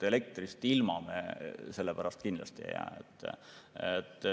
Elektrist ilma me tänu sellele kindlasti ei jää.